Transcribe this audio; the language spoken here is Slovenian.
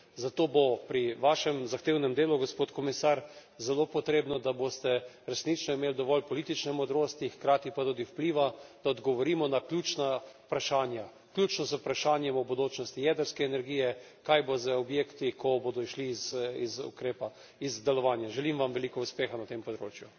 Zato bo pri vašem zahtevnem delu, gospod komisar, zelo potrebno, da boste resnično imeli dovolj politične modrosti, hkrati pa tudi vpliva, da odgovorimo na ključna vprašanja, vključno z vprašanjem o bodočnosti jedrske energije, kaj bo z objekti, ko bodo šli iz ukrepa, iz delovanja. Želim vam veliko uspeha na tem področju.